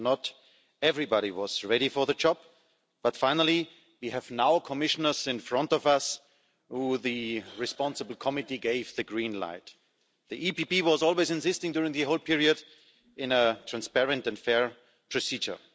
Not everybody was ready for the job, but finally we now have Commissioners in front of us who the responsible committee gave the green light to. The EPP was always insisting during the whole period on a transparent and fair procedure.